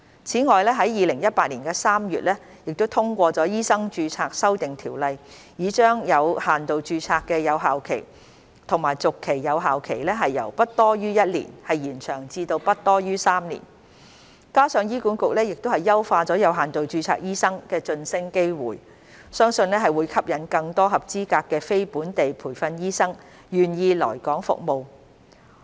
此外，在2018年3月通過的《2018年醫生註冊條例》已將有限度註冊的有效期和續期有效期由不多於1年延長至不多於3年，加上醫管局已優化有限度註冊醫生的晉升機會，相信會吸引更多合資格的非本地培訓醫生願意來港服務。